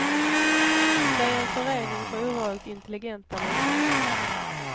Det är en förening för ovanligt intelligenta människor.